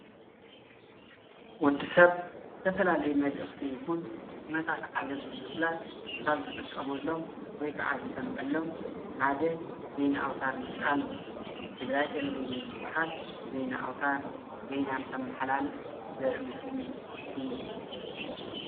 ወዲሰብ ዝተፈላለዩ መልእክቲ ይኩን ኩነታት ዓለም ንምፍላጥ ኣብ ዝጥቀመሎምን ዝሰምዓሎምን ሓደ ዜና ኣውታር ምጥቃም እዩ። ትግራይ ቴሌቪጅን ዝባሃል ዜና ኣውታር ዘማሓላልፎ ዘርኢ ምስሊ እዩ።